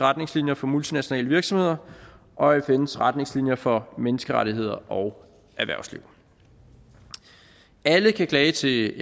retningslinjer for multinationale virksomheder og fns retningslinjer for menneskerettigheder og erhvervsliv alle kan klage til